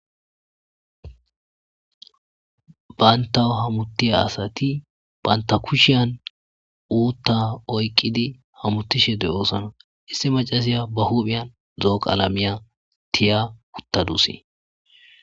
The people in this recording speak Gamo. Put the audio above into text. Banta hamuttiya asati banta kushiyan uutta oyqqidi hamutishe de'oosana issi macaziya ba huphiyan dooqaalamiya tiya uttadusi.